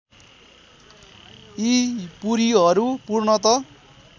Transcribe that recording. यी पुरीहरू पूर्णत